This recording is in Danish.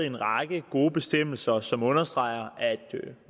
en række gode bestemmelser som understreger at